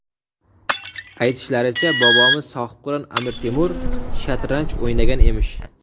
Aytishlaricha bobomiz sohibqiron Amir Temur shatranj o‘ynagan emish.